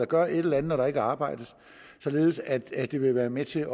gøre et eller andet når der ikke arbejdes således at det vil være med til